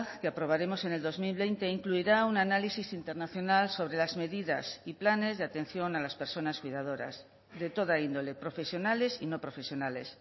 que aprobaremos en el dos mil veinte incluirá un análisis internacional sobre las medidas y planes de atención a las personas cuidadoras de toda índole profesionales y no profesionales